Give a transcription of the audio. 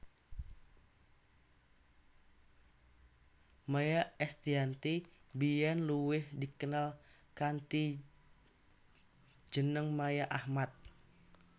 Maia Estiyanti biyén luwih dikenal kanthi jeneng Maia Ahmad